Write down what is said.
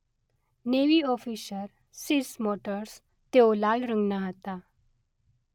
navy officer સીસ મેટોર્સ તેઓ લાલ રંગના હતા